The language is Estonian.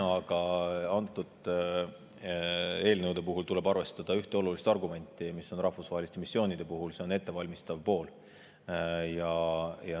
Aga antud eelnõude puhul tuleb arvestada ühte olulist argumenti, mis rahvusvaheliste missioonide puhul on, see on ettevalmistav pool.